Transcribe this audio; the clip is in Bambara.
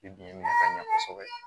I bi nafa ɲɛ kosɛbɛ